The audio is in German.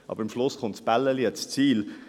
Am Schluss kommt das Röllchen ans Ziel.